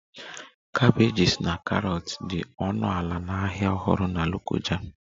Cabbages na carrots dị ọnụ ala na Ahịa Ọhụrụ Na lokoja